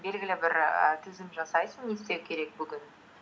белгілі бір ііі тізім жасайсың не істеу керек бүгін